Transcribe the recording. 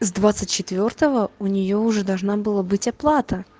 с двадцать четвёртого у неё уже должна была быть оплата